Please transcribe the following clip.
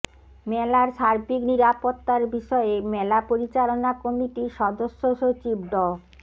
মেলার সার্বিক নিরাপত্তার বিষয়ে মেলা পরিচালনা কমিটির সদস্য সচিব ড